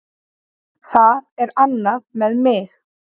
Það er annað með mig.